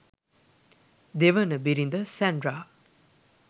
දෙවන බිරිඳ සැන්ඩ්‍රා